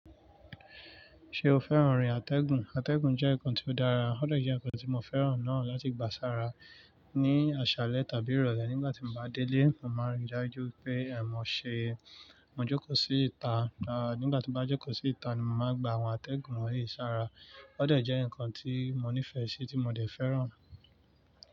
Ṣé o fẹ́ràn ọ̀rìn àtẹ̀gùn? Àtẹ̀gùn jẹ́ ǹkan tí ó dára, ó dọ̀jẹ ǹkan tí mo fẹ́ràn náà láti gbà sára ní àṣálẹ́ tàbí ìrọ̀lẹ́. Nígbà tí mo bá délé, mo máa ń ri dájú pé ẹ̀ mọ ṣe, mo jókòó sí ìta, à nígbà tí mo bá jókòó sí ìta ni mo máa gbà àwọn àtẹ̀gùn mi he sára. Ó dẹ̀ jẹ ǹkan tí mo nífẹ̀ẹ́ sí, tí mo dẹ̀ fẹ́ràn.